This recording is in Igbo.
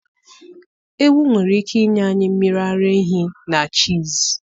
Ewu nwere ike inye anyị mmiri ara ehi na cheese.